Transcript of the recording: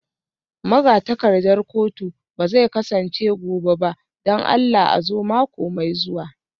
Magatakardar kotu ba zai kasance gobe ba don Allah a zo mako mai zuwa